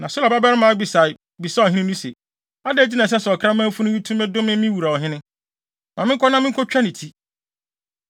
Na Seruia babarima Abisai bisaa ɔhene no se, “Adɛn nti na ɛsɛ sɛ ɔkraman funu yi tumi dome me wura ɔhene? Ma menkɔ na minkotwa ne ti.”